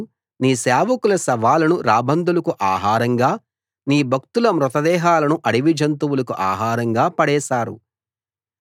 వాళ్ళు నీ సేవకుల శవాలను రాబందులకు ఆహారంగా నీ భక్తుల మృత దేహాలను అడవి జంతువులకు ఆహారంగా పడేశారు